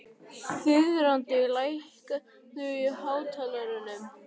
Þiðrandi, lækkaðu í hátalaranum.